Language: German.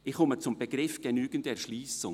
Ich komme zum Begriff «genügende Erschliessung».